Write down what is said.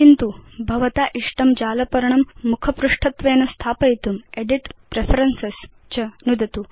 किन्तु भवता इष्टं जालपर्णं मुखपृष्ठत्वेन स्थापयितुं एदित् प्रेफरेन्सेस् च नुदतु